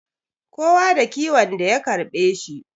Kowa da kiwon da ya karbe shi